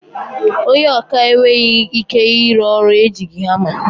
Ònye ọkà enweghị ike ịrụ ọrụ ejighi hama.